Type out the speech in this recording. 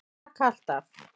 Raka allt af.